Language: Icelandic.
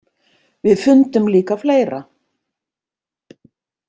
Við fundum líka fleira.